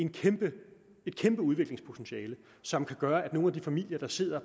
kæmpe udviklingspotentiale som kan gøre at nogle af de familier der sidder og